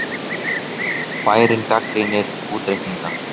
Bærinn gagnrýnir útreikninga